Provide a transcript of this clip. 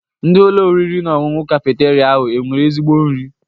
Ndị Ụlọ oriri na ọṅụṅụ kafeteria ahụ enwere ezigbo nri?